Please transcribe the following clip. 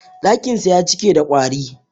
Ɗakinsa ya cike da ƙwari.